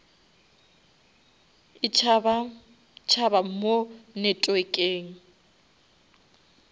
e tšhaba tšhaba mo networkeng